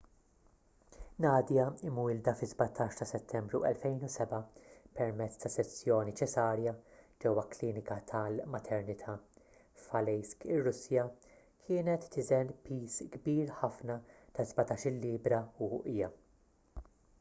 nadia imwielda fis-17 ta' settembru 2007 permezz ta' sezzjoni ċesarja ġewwa klinika tal-maternità f'aleisk ir-russja kienet tiżen piż kbir ħafna ta' 17-il libbra u uqija